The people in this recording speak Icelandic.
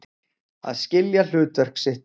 Að skilja hlutverk sitt